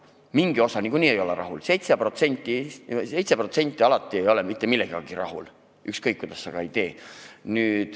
Mingi osa ei ole niikuinii rahul – 7% ei ole kunagi mitte millegagi rahul, ükskõik kuidas sa ka ei tee.